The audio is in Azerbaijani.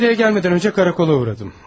Bugün Rodeya gəlmədən öncə karakola uğradım.